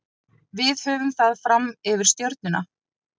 Við höfum það fram yfir Stjörnuna.